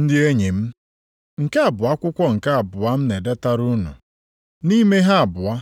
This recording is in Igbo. Ndị enyi m, nke a bụ akwụkwọ nke abụọ m na-edetara unu. Nʼime ha abụọ,